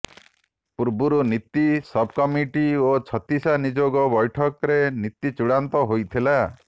ପୂର୍ବରୁ ନୀତି ସବ୍କମିଟି ଓ ଛତିଶା ନିଯୋଗ ବ୘ଠକରେ ନୀତି ଚୂଡ଼ାନ୍ତ ହୋଇଥିଲା